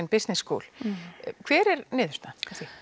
business school hver er niðurstaðan